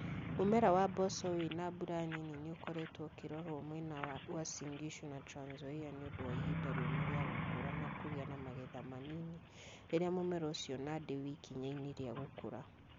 Mũmera wa mboco wĩ na mbura nini nĩ ũkoretwo ũkĩrorwo mwena wa Uasin Gishu na Trans Nzoia nĩ ũndũ wa ihinda rĩũmũ rĩa gũkũra na kũgĩa na magetha manini rĩrĩa mũmera ũcio Nandi we ikinya-inĩ rĩa gũkũra.